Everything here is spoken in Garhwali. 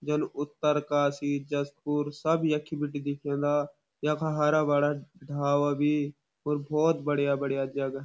जन उत्तरकाशी जसपुर सब यखी बीटे दिखेंदा यख हरा भरा ढाबा भी और बढ़िया बढ़िया जगह।